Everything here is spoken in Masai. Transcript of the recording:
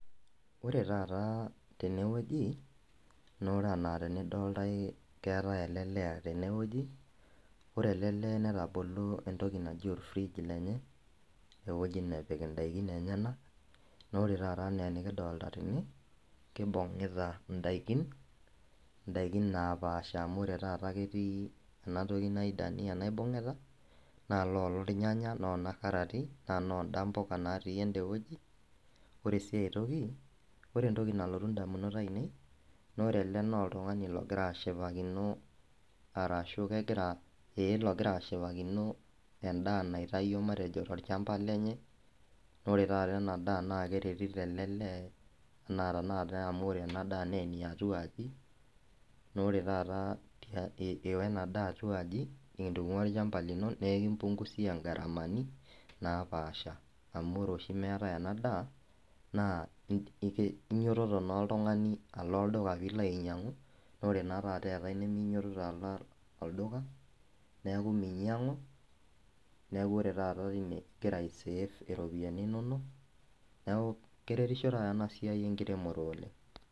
Ore taata tenewueji noore ena tenidoltae ketae ele lee tenewueji ore ele lee netabolo entoki naji or fridge lenye ewueji nepik indaikin enyenak naa ore taata enaa enkidolta tene kibung'ita indaikin indaikin napaasha amu ore taata ketii ena toki naji dania naibung'ita naa loolo irnyanya nona karati naa nonda impuka natii ende wueji ore sii ae toki ore entoki nalotu indamunot ainei naa ore ele naa oltung'ani logira ashipakino arashu kegira eh logira ashipakino endaa naitayuo matejo torchamba lenye nore taata ena daa naa keretito ele lee enaa tenakata amu ore ena daa naa eniatua aji nore taata iwa ena daa atua aji nintung'ua olchamba lino nekimpungusia ingharamani napaasha amu ore oshi meetae ena daa naa e inyiototo naa oltung'ani alo olduka piilo ainyiang'u nore naa taata eetae neminyiotot alo olduka niaku minyiang'u neku ore taata tine igira ae save iropiyiani inonok neku keretisho taata ena siai enkiremore oleng.